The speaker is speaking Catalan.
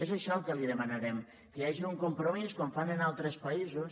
és això el que li demanarem que hi hagi un compromís com fan en altres països